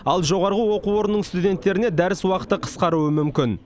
ал жоғарғы оқу орнының студенттеріне дәріс уақыты қысқаруы мүмкін